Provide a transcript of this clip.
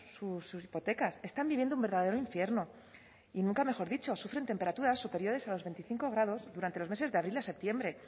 sus hipotecas están viviendo un verdadero infierno y nunca mejor dicho sufren temperaturas superiores a los veinticinco grados durante los meses de abril a septiembre